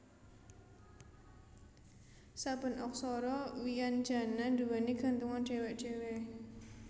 Saben aksara wianjana nduwèni gantungan dhéwé dhéwé